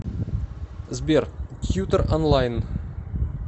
сбер тьютор онлайн